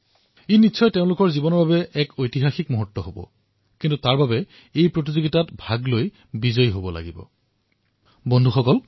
এয়া বিজয়ী বিদ্যাৰ্থীসকলৰ বাবে তেওঁলোকৰ জীৱনৰ এক ঐতিহাসিক ঘটনা হিচাপে বিবেচিত হব আৰু ইয়াৰ বাবে আপোনালোকে কুইজ প্ৰতিযোগিতাত অংশগ্ৰহণ কৰিব লাগিব সৰ্বাধিক নম্বৰ লাভ কৰিব লাগিব আৰু আপুনি বিজয়ী হব লাগিব